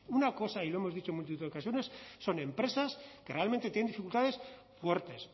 una cosa y lo hemos dicho en multitud de ocasiones son empresas que realmente tienen dificultades fuertes